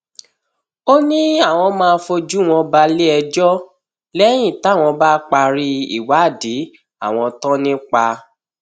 ó ní àwọn máa fojú wọn balẹẹjọ lẹyìn táwọn bá parí ìwádìí àwọn tán nípa